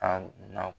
A na